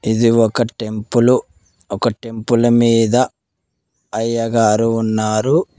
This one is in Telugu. ఇది ఒక టెంపులు ఒక టెంపుల్ మీద అయ్యగారు ఉన్నారు.